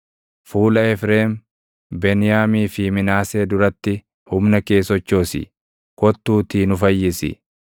Fuula Efreem, Beniyaamii fi Minaasee duratti humna kee sochoosi; kottuutii nu fayyisi.